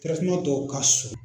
tɔw ka